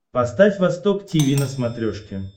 поставь восток тиви на смотрешке